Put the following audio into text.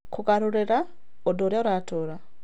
Kũgarũrĩra ũndũ ũrĩa ũratũũra.